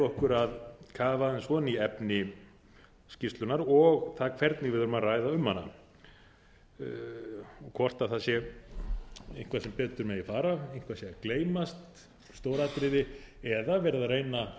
okkur að kafa aðeins ofan í efni skýrslunnar og það hvernig við eigum að ræða um hana hvort það sé eitthvað sem betur megi fara eitthvað sé að gleymast stór atriði eða verið að reyna